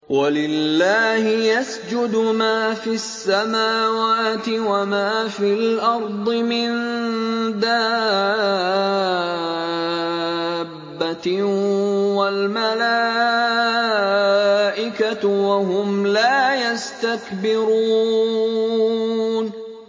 وَلِلَّهِ يَسْجُدُ مَا فِي السَّمَاوَاتِ وَمَا فِي الْأَرْضِ مِن دَابَّةٍ وَالْمَلَائِكَةُ وَهُمْ لَا يَسْتَكْبِرُونَ